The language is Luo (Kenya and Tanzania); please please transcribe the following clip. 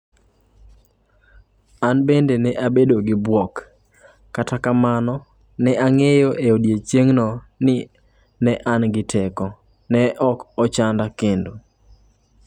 "An bende ne abedo gi bwok, kata kamano ne ang'eyo e odiechieng'no ni ne an gi teko - ne ok ochanda kendo."""